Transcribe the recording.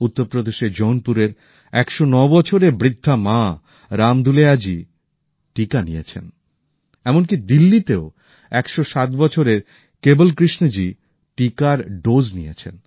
উত্তরপ্রদেশের জৌনপুরের ১০৯ বছরের বৃদ্ধা মা রাম দুলেয়াজি টিকা নিয়েছেন এমনি দিল্লিতেও ১০৭ বছরের কেবল কৃষ্ণ জি টিকার ডোজ নিয়েছেন